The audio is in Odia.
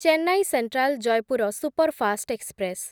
Chennai central Jaipur superfast express